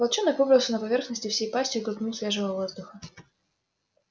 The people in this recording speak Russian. волчонок выбрался на поверхность и всей пастью глотнул свежего воздуха